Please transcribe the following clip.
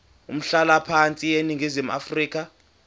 umhlalaphansi eningizimu afrika